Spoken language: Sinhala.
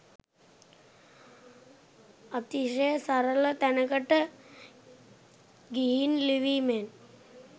අතිශය සරල තැනකට ගිහින් ලිවීමෙන්